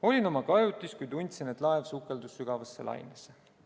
"Olin oma kajutis, kui tundsin, et laev sukeldus sügavasse lainesse.